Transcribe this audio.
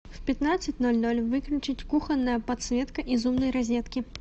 в пятнадцать ноль ноль выключить кухонная подсветка из умной розетки